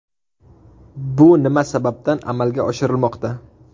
Bu nima sababdan amalga oshirilmoqda?